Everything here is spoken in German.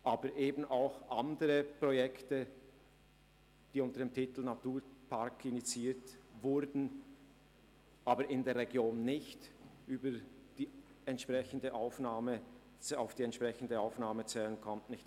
Es gibt auch noch andere Projekte, die unter dem Titel «Naturpark» initiiert wurden, aber in der Region nicht auf die entsprechende Aufnahme zählen konnten.